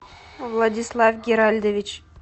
владислав геральдович